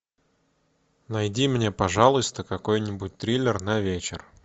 найди мне пожалуйста какой нибудь триллер на вечер